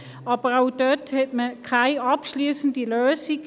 Aber auch dort fand man keine abschliessende Lösung.